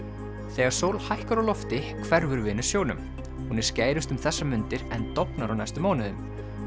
þegar sól hækkar á lofti hverfur Venus sjónum hún er skærust um þessar mundir en dofnar á næstu mánuðum